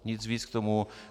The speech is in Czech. Nic víc k tomu.